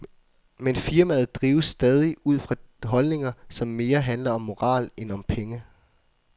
Men firmaet drives stadig ud fra holdninger, som mere handler om moral end om penge.